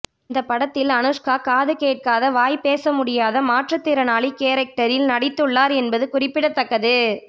இந்த படத்தில் அனுஷ்கா காது கேட்காத வாய் பேச முடியாத மாற்றுத் திறனாளி கேரக்டரில் நடித்துள்ளார் என்பது குறிப்பிடத்தக்கது